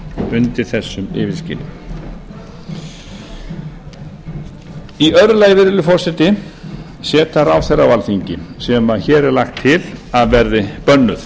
undir þessu yfirskini í öðru lagi virðulegi forseti seta ráðherra á alþingi sem hér er lagt til að verði bönnuð